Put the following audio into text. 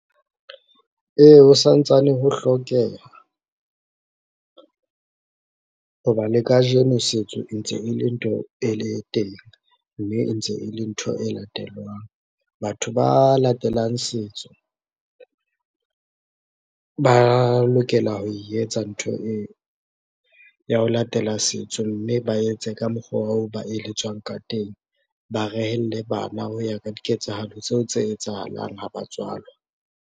Ee, ho santsane ho hlokeha, ho ba le kajeno setso ntse e le ntho e le teng, mme e ntse e le ntho e latelwang. Batho ba latelang setso, ba lokela ho e etsa ntho eo, ya ho latela setso mme ba etse ka mokgwa oo ba eletswang ka teng. Ba rehelle bana ho ya ka diketsahalo tseo tse etsahalang ha ba tswalwa.